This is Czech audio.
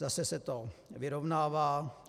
Zase se to vyrovnává.